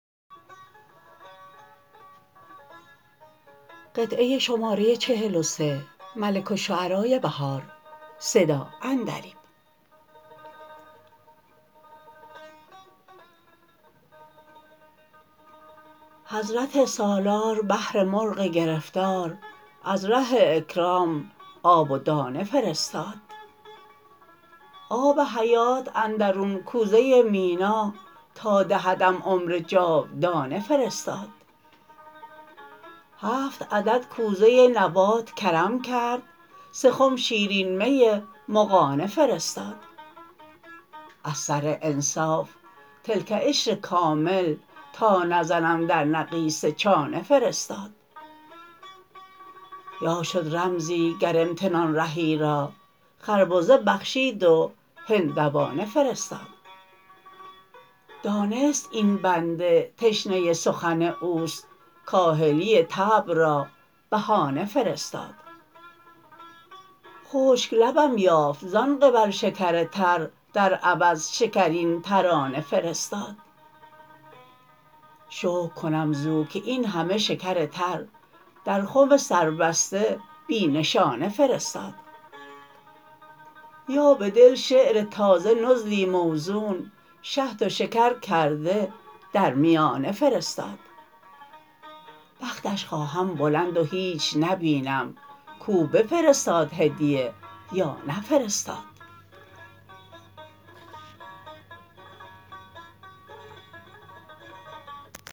حضرت سالار بهر مرغ گرفتار از ره اکرام آب و دانه فرستاد آب حیات اندرون کوزه مینا تا دهدم عمر جاودانه فرستاد هفت عدد کوزه نبات کرم کرد سه خم شیرین می مغانه فرستاد از سر انصاف تلک عشر کامل تا نزنم در نقیصه چانه فرستاد باشد رمزی گر امتنان رهی را خربزه بخشید و هندوانه فرستاد دانست این بنده تشنه سخن اوست کاهلی طبع را بهانه فرستاد خشک لبم یافت زان قبل شکر تر در عوض شکرین ترانه فرستاد شکر کنم زو که این همه شکر تر در خم سربسته بی نشانه فرستاد یا بدل شعر تازه نزلی موزون شهد و شکر کرده در میانه فرستاد بختش خواهم بلند و هیچ نبینم کاو بفرستاد هدیه یا نفرستاد